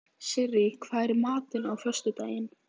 Sirrí, hvað er í matinn á föstudaginn?